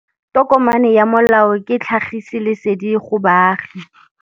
Tokomane ya molao ke tlhagisi lesedi go baagi.